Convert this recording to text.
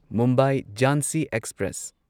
Mumbai Jhansi express